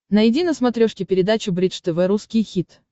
найди на смотрешке передачу бридж тв русский хит